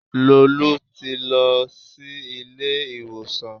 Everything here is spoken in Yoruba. Lolú ti lọ sí ilé ìwòsàn